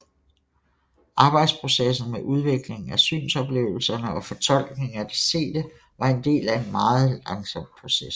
Arbejdsprocessen med udviklingen af synsoplevelserne og fortolkningen af det sete var en del af en meget langsom proces